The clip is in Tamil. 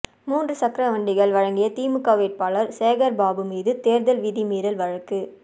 மூன்று சக்கர வண்டிகள் வழங்கிய திமுக வேட்பாளர் சேகர்பாபு மீது தேர்தல் விதிமீறல் வழக்கு